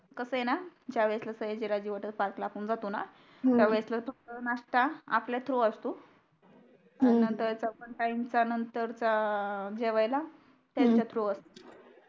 ज्या वेळेसला Sayajiraoji water park ला आपण जातो णा हम्म त्या वेळेसला फक्त नाश्ता आपल्या थ्रू असतो हम्म नंतर सेकंड टाइम च्या नंतर चा जेवायला त्यांच्या थ्रू असतो हम्म